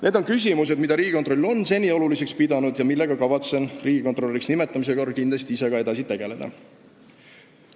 Need on küsimused, mida Riigikontroll on seni oluliseks pidanud ja millega kavatsen riigikontrolöriks nimetamise korral ka ise kindlasti edasi tegelda.